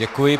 Děkuji.